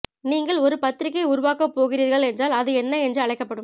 நீங்கள் ஒரு பத்திரிகை உருவாக்கப் போகிறீர்கள் என்றால் அது என்ன என்று அழைக்கப்படும்